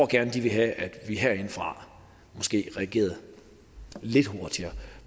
gerne vil have at vi herindefra måske reagerede lidt hurtigere